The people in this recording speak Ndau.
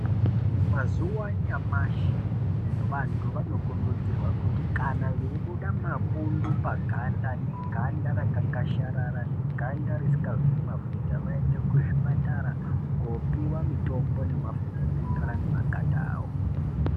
Mumazuwa anyamashi vantu vanokurudzirwa kuti kana veibuda mapunda paganda kana vane ganda rakakwashasharara, ganda risingazwi mafuta vaende kuzvipatara koopiwa mitombo nemafuta anoenderana nemaganda ravo.